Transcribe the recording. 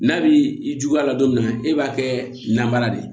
N'a bi i juguya la don min na e b'a kɛ nabaara de ye